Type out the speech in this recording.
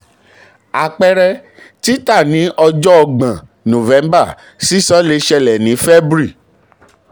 àpẹẹrẹ: títà ní ọjọ́ ọgbọ̀n november sísan le ṣẹlẹ̀ ni february.